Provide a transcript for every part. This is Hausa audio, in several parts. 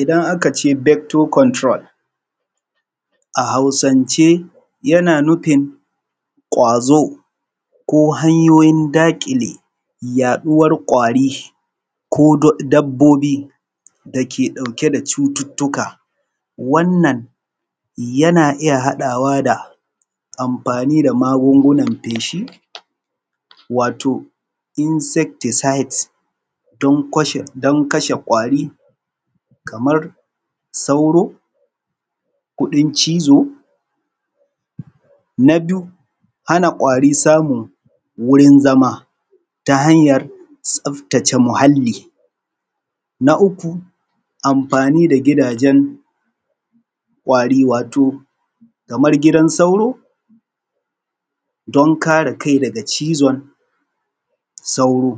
Idan aka ce vector control a Hausance yana nufin ƙwazo ko hanyoyin daƙile yaɗuwar ƙwari ko dabbobi dake ɗauke da cututtuka. Wannan yana iya haɗawa da amfani da magungunan feshi wato insecticides don koshe don kashe ƙwari kamar sauro, kuɗin cizo. Na biyu hana ƙwari samun wurin zama ta hanyar tsaftace muhalli. Na uku amfani da gidajen ƙwari wato kamar gidan sauro don kare kai daga cizon sauro.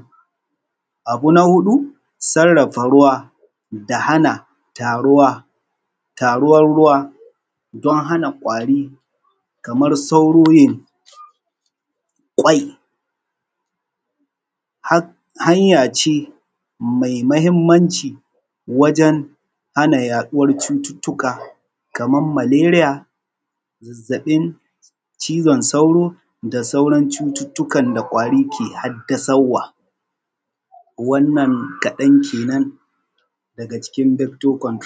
Abu na huɗu sarrafa ruwa da hana taruwa, taruwar ruwa don hana ƙwari kamar sauro yin ƙwai hanya ce mai mahimmanci wajen hana yaɗuwar cututtuka kamar maleriya, zazzaɓin cizon sauro da sauran cututtukan da ƙwari ke haddasauwa. Wannan kaɗan kenan daga cikin vector control.